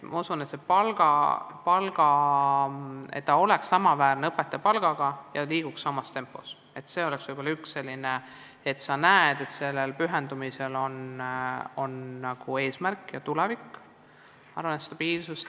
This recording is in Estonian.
Ma usun, et kui tugispetsialisti palk oleks samaväärne õpetaja palgaga ja liiguks samas tempos, siis oleks sellel pühendumisel veel üks eesmärk juures ja me saavutaksime stabiilsuse.